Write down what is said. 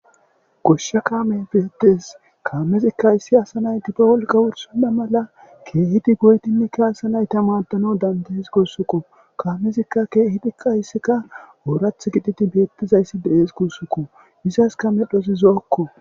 goshsha kaame beedees kaamezikka issi asa nayti be wolqa wursonna mala keehidi goytini kaasa nayta maadano dandees guussukko kaamezikka keehidi qayssikka oorath gititi beettizayssi de7ees kussukko isaska medhosi zo7okko